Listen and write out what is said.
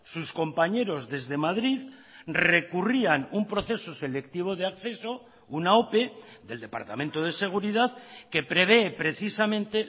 sus compañeros desde madrid recurrían un proceso selectivo de acceso una ope del departamento de seguridad que prevé precisamente